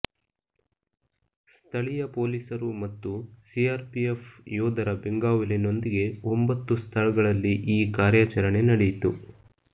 ಸ್ಥಳೀಯ ಪೊಲೀಸರು ಮತ್ತು ಸಿಆರ್ಪಿಎಫ್ ಯೋಧರ ಬೆಂಗಾವಲಿನೊಂದಿಗೆ ಒಂಬತ್ತು ಸ್ಥಳಗಳಲ್ಲಿ ಈ ಕಾರ್ಯಾಚರಣೆ ನಡೆಯಿತು